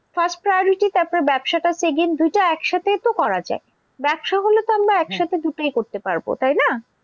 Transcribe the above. First priority তারপরে ব্যবসাটা second দুইটা একসাথেই তো করা যায়। ব্যবসা হলে তো আমরা দুটোই করতে পারবো তাই না?